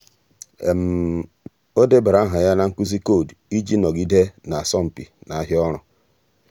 ọ́ débara áhà ya na nkuzi koodu iji nọgide n’ásọ́mpi n’áhịa ọ́rụ́.